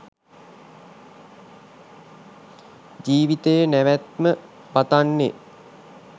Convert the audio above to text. ජීවිතයේ නැවැත්ම පතන්නෙ